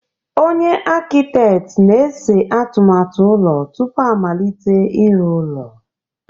Onye Akịteet na-ese atụmatụ ụlọ tupu a amalite ịrụ ụlọ.